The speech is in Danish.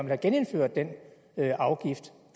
have genindført den afgift